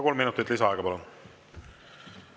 Kolm minutit lisaaega, palun!